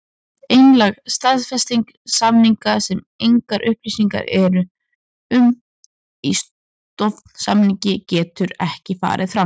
Eiginleg staðfesting samninga, sem engar upplýsingar eru um í stofnsamningi, getur ekki farið fram.